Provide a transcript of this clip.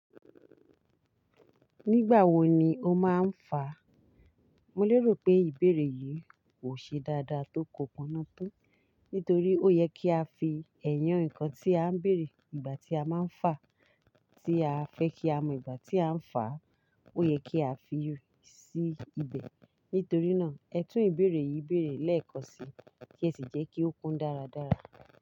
Nígbàwo ni o máa ń fà? Mo lérò pé ìbéèrè yìí kò ṣe dáadáa tó kò pọ́nátán nítorí ó yẹ kí a fi ẹ̀yán ǹkan tí à ń béèrè ìgbà tí a máa ń fà tí a fẹ́ kí a mọ ìgbà tí à ń fà ó yẹ kí a fi sí ibẹ̀. Nítorí náà, ẹ tún ìbéèrè yìí béèrè lẹ́ẹ̀kan si kí ẹ sì jẹ́ kí ó kún dáradára.